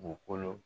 Dugukolo